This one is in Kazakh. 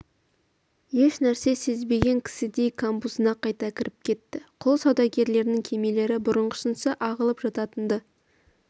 ешнәрсе сезбеген кісідей камбузына қайта кіріп кетті құл саудагерлерінің кемелері бұрынғысынша ағылып жататын-ды